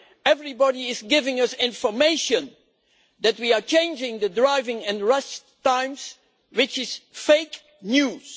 Everybody is giving us information that we are changing the driving and rest times, which is fake news.